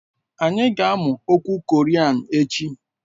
Anyị ga-amụ okwu Korean echi